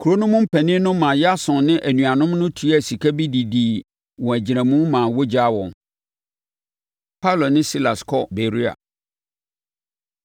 Kuro no mu mpanin no maa Yason ne anuanom no tuaa sika bi de dii wɔn agyinamu maa wɔgyaa wɔn. Paulo Ne Silas Kɔ Beroia